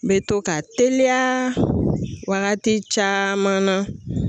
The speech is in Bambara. N bɛ to ka teliya waagati caman na.